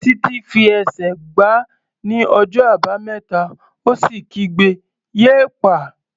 Títí fi ẹsẹ̀ gbá ní ọjọ́ Àbámẹ́ta ó sì kígbe "yéèpà!"